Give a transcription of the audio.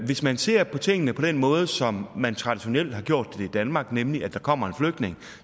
hvis man ser på tingene på den måde som man traditionelt har gjort det i danmark nemlig at der kommer en flygtning og